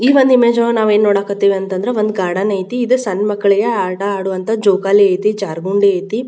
ಈ ಒಂದ್ ಇಮೇಜ್ ನೊಳಗ ನಾವ್ ಏನ್ ನೋಡಕಥಿವ್ ಅಂದ್ರೆ ಒಂದ್ ಗಾರ್ಡನ್ ಐತಿ ಇದ್ ಸನ್ಮಕ್ಕಳಿಗೆ ಆಟ ಅಡೊಅಂಥ ಜೋಕಾಲಿ ಐತಿ ಜರ್ಬುನ್ಡಿ ಐತಿ--